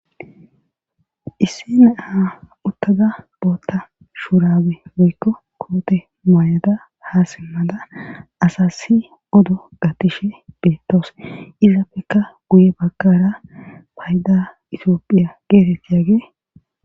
Isse ne aa uttada bootta shuurabe woykko koote maayada hasimmada asasi odo gatishe beettoos izapfeka guye bagkara payda itioophiya geetettiyaage.